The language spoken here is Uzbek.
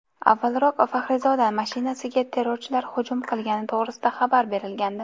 Avvalroq Faxrizoda mashinasiga terrorchilar hujum qilgani to‘g‘risida xabar berilgandi .